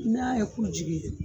I n'a yɛ ku jigi